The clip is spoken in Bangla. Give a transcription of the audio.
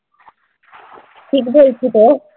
ঠিক বলছিতো?